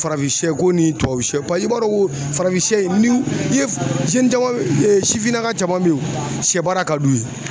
Farafinsɛko ni tubabusɛ paye i b'a dɔn ko farafinsɛ in ni ni n'i ye caman sifinnaka caman bɛ ye sɛbaara ka d'u ye.